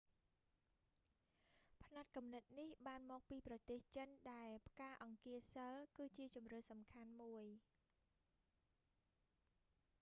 ផ្នត់គំនិតនេះបានមកពីប្រទេសចិនដែលផ្កាអង្គាសីល គឺជាជម្រើសសំខាន់មួយ